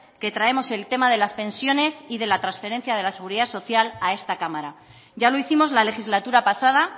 que traemos el tema de las pensiones y de la transferencia de la seguridad social a esta cámara ya lo hicimos la legislatura pasada